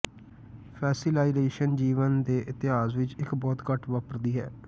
fossilisation ਜੀਵਨ ਦੇ ਇਤਿਹਾਸ ਵਿਚ ਇੱਕ ਬਹੁਤ ਘੱਟ ਵਾਪਰਦੀ ਹੈ